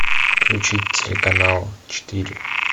включить телеканал четыре